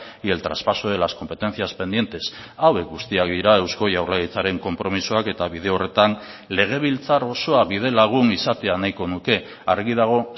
y el traspaso de las competencias pendientes hauek guztiak dira eusko jaurlaritzaren konpromisoak eta bide horretan legebiltzar osoa bidelagun izatea nahiko nuke argi dago